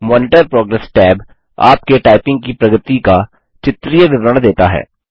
monitor progress tab आपके typing की प्रगति का चित्रीय विवरण देता है